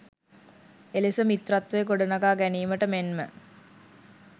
එලෙස මිත්‍රත්වය ගොඩනගා ගැනීමට මෙන්ම